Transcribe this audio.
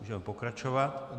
Můžeme pokračovat.